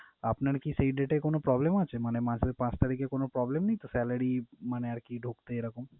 আপনার কি সেই date এ কোন problem আছে? মানে মাসের পাঁচ তারিখে কোন problem নেইতো salary মানে আরকি ঢুকতে এইরকম?